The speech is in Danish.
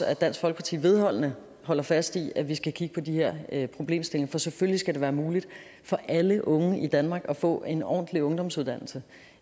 at dansk folkeparti vedholdende holder fast i at vi skal kigge på de her problemstillinger for selvfølgelig skal det være muligt for alle unge i danmark få en ordentlig ungdomsuddannelse